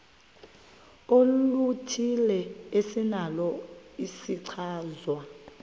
oluthile esinalo isichazwa